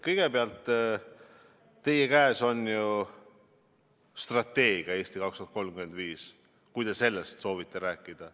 Kõigepealt teie käes on ju strateegia "Eesti 2035" – kui te sellest soovite rääkida.